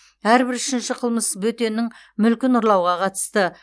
әрбір үшінші қылмыс бөтеннің мүлкін ұрлауға қатысты